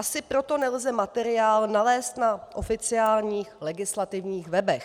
Asi proto nelze materiál nalézt na oficiálních legislativních webech.